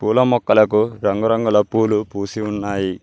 పూల మొక్కలకు రంగురంగుల పూలు పూసి ఉన్నాయి.